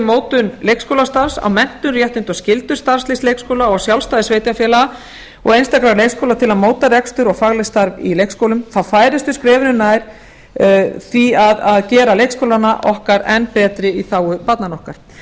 mótun leikskólastarfi á menntun réttindi og skyldur starfsliðs sveitarfélaga og sjálfstæði sveitarfélaga og einstakra leikskóla til að móta rekstur og faglegt starf í leikskólum færumst við skrefinu nær því að gera leikskólana okkar enn betri í þágu barnanna okkar